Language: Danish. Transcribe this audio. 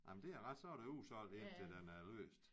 Ej men det er ret så er der udsolgt indtil den er løst